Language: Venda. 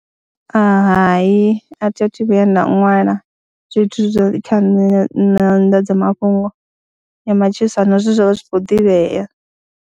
Hai a thi a thu vhuya nda ṅwala zwithu zwe kha nṋe nyanḓadzamafhungo ya matshilisano zwe zwa vha zwi khou ḓivha.